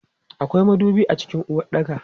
Akwai madubi a cikin uwaɗɗaka.